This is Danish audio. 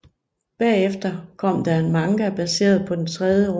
Bagefter kom der en manga baseret på den tredje roman